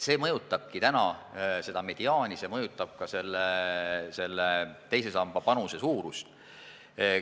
See mõjutabki täna seda mediaani, see mõjutab ka teise samba panuse suurust.